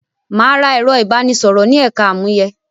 Mà á ra ẹ̀rọ ìbánisọ̀rọ̀ ni ẹka àmúyẹ.